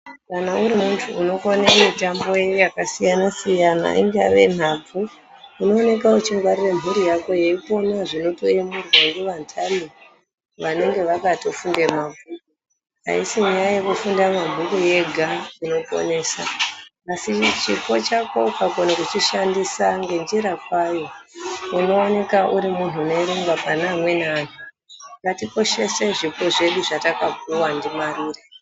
Kana urimuntu unokone mitambo yakasiyanasiyana ingave nhabvu, unooneka wechingwarire mhuri yako yeipona zvinoto yemurwa ngevanhani vanenge vakato funde mabhuku, ayisi nyaya yekufunde mabhuku yega inoponesa asi chipo chako ukakone kuchishandisa ngenjira kwayo unoneka urimuunhu unoerengwa pane amweni anhu ngatikoshese zvipo zvedu zvatakapuwa ndiMarure.